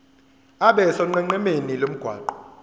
abe sonqenqemeni lomgwaqo